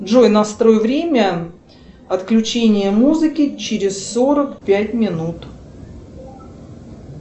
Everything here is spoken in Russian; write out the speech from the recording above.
джой настрой время отключения музыки через сорок пять минут